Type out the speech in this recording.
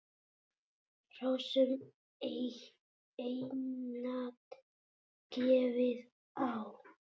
Hrossum einatt gefið á.